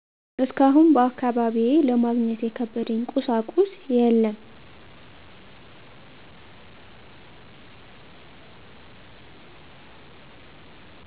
እስካሁን በአካባቢዬ ለማግኘት የከበደኝ ቁሳቁስ የለም።